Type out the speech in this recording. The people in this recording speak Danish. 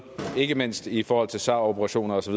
ikke mindst i forhold til sar operationer osv